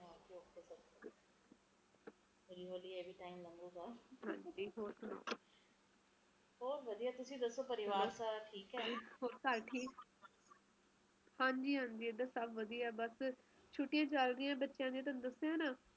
ਆਪਣੇ ਆਗੇ ਆਨੀ ਵਾਲੀ ਹੈਗੇ ਅਏ ਬੱਚੇ ਐ ਆ ਓਹਨਾ ਦਾ ਕਿ ਬਣੂਗਾ ਉਹ ਵਿਚਾਰੇ ਕਿਹੋ ਜਿਹੇ ਮਾਹੌਲ ਵਿਚ ਰਹਿਣਗੇ ਆਪ ਕਿ ਕਹਿ ਸਕਦੇ ਆ ਕਿਹੋ ਜਿਹਾ ਮੌਸਮ ਦੇਖਣਗੇ ਅਸੀਂ ਹੁਣ ਇੰਨੇ